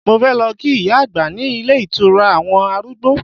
Mo fẹ́ lọ kí ìyá àgbà ní ilé ìtọ́jú àwọn arúgb́o